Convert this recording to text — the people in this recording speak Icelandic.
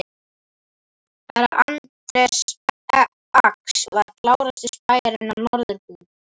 Herra Anders Ax var klárasti spæjarinn á Norðurbrú.